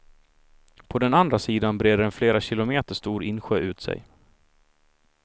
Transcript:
På den andra sidan breder en flera kilometer stor insjö ut sig.